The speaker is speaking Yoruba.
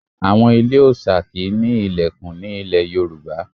Àwọn ilé òòṣà kì í ní ilẹ̀kùn ní ilẹ̀ Yorùbá.